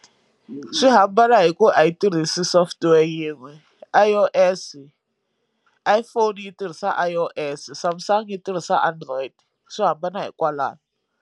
Swi hambana hi ku a yi tirhisi software yin'we I_O_S Iphone yi tirhisa I_O_S Samsung yi tirhisa android swo hambana hi kwalano.